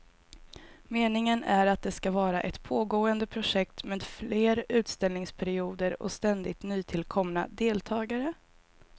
Meningen är att det ska vara ett pågående projekt med fler utställningsperioder och ständigt nytillkomna deltagare.